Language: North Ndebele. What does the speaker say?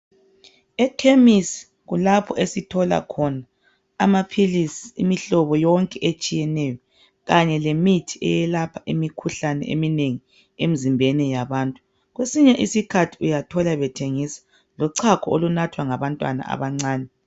Ekhemisi kulapho esithola khona amaphilisi imihlobo yonke etshiyeneyo kanye lemithi eyelapha imikhuhlane eminengi emzimbeni yabantu kwesinye isikhathi uyathola bethengisa lochago olunathwa ngabantwana abancane